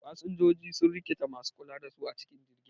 Fasinjoji sun rikita masu kula da su a cikin jirgi